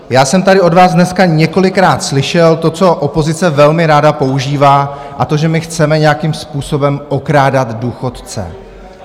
Já jsem tady od vás dneska několikrát slyšel to, co opozice velmi ráda používá, a to že my chceme nějakým způsobem okrádat důchodce.